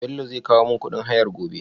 Bello zai kowo mun kuɗin hayar gobe?